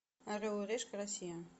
орел и решка россия